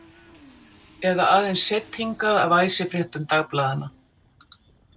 Eða aðeins seidd hingað af æsifréttum dagblaðanna?